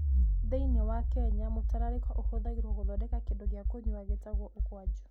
Thĩinĩ wa Kenya, mũtararĩko ũhũthagĩrũo gũthondeka kĩndũ gĩa kũnyua gĩĩtagwo ukwaju.